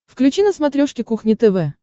включи на смотрешке кухня тв